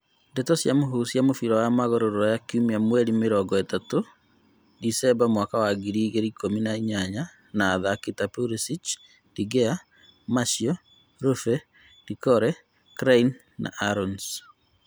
Ndeto cia mũhuhu cia mũbira wa magũrũ Rũraya kiumia mweri mĩrongo ĩtatũ Decemba mwaka wa ngiri igĩrĩ ikumi na inyanya na athaki ta Pulisic, De Gea, Martial, Roofe, Doucoure, Clyne, Aarons